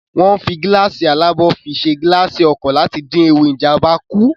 Wọ́n ń fi gíláàsì alábò fi ṣe gilaasi ọkọ̀ láti dín ewu Ìjàmbá kù